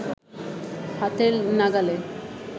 হাতের নাগালে